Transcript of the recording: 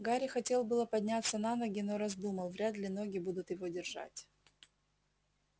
гарри хотел было подняться на ноги но раздумал вряд ли ноги будут его держать